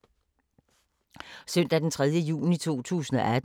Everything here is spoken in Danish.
Søndag d. 3. juni 2018